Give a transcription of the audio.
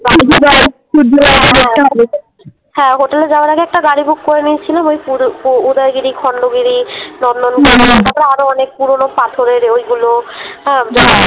হ্যাঁ হোটেলে যাওয়ার আগে একটা গাড়ি Book করে নিয়েছিলাম ওই পুর উ উদয়গিরি, খন্ডগিরি, নন্দনকানন তারপরে আরও অনেক পুরোনো পাথরের ওইগুলো হ্যাঁ